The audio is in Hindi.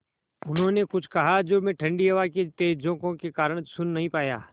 उन्होंने कुछ कहा जो मैं ठण्डी हवा के तेज़ झोंके के कारण सुन नहीं पाया